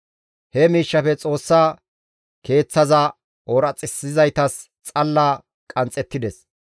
He miishshafe Xoossa Keeththaza ooraxissizaytas xalla qanxxettides.